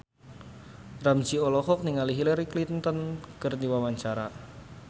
Ramzy olohok ningali Hillary Clinton keur diwawancara